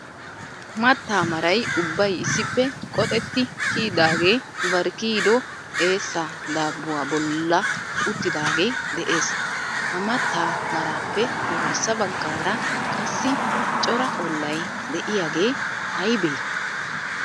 Mattaa maray ubbay issippe qoxxeti kiyidaagee bari kiyido eessaa daabuwa bolla uttidaagee de'ees. Ha mattaa marappe garssa baggaara qassi cora ollay de'iyaagee aybee?